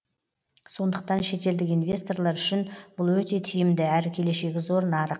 сондықтан шетелдік инвесторлар үшін бұл өте тиімді әрі келешегі зор нарық